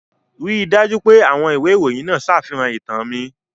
Rí i dájú pé ìwé ìròyìn náà ṣàfihàn ìtàn mi.